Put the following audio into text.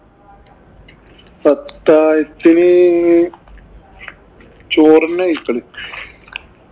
അത്താഴത്തിന് ചോറ് തന്നെയാ കഴിക്കല്